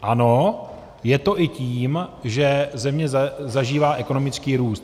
Ano, je to i tím, že země zažívá ekonomický růst.